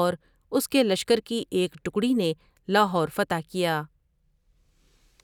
اور اس کے لشکر کی ایک ٹکڑی نے لاہور فتح کیا ۔